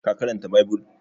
ka karanta bibul!